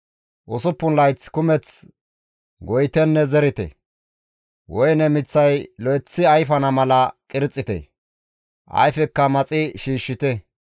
Usuppun layath kumeth goyitenne zerite; woyne miththay lo7eththi ayfana mala qirxite; ayfekka maxi shiishshite.